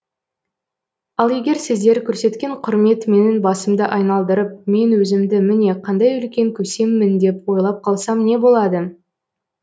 ал егер сіздер көрсеткен құрмет менің басымды айналдырып мен өзімді міне қандай үлкен көсеммін деп ойлап қалсам не болады